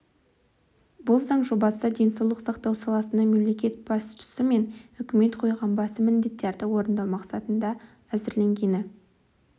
бұл заң жобасы денсаулық сақтау саласына мемлекет басшысы мен үкімет қойған басым міндеттерді орындау мақсатында әзірленгені